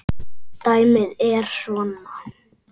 Dæmið er svona